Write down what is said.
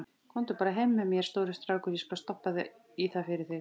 Komdu bara heim með mér, stóri strákur, ég skal stoppa í það fyrir þig.